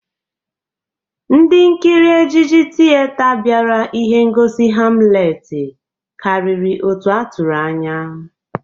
Ndị nkiri ejiji tiyeta bịara ihe ngosi Hamleti karịrị otu a tụrụ anya.